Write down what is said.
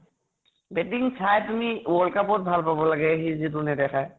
batting চাই তুমি world cup ত ভাল পাব লাগে সি যিটো নেদেখাই